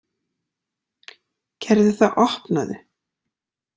Gerðu það, opnaðu!